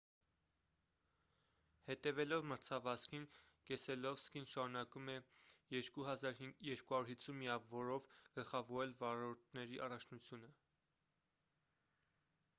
հետևելով մրցավազքին կեսելովսկին շարունակում է 2 250 միավորով գլխավորել վարորդների առաջնությունը